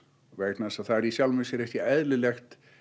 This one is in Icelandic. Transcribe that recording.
vegna þess að það er í sjálfu sér ekki eðlilegt